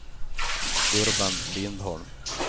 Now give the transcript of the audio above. Urban Lindholm